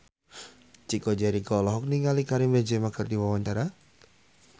Chico Jericho olohok ningali Karim Benzema keur diwawancara